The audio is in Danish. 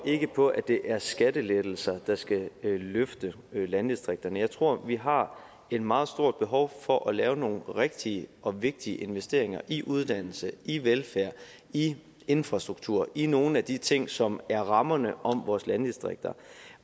på at det er skattelettelser der skal løfte landdistrikterne jeg tror at vi har et meget stort behov for at lave nogle rigtige og vigtige investeringer i uddannelse i velfærd i infrastruktur og i nogle af de ting som er rammerne om vores landdistrikter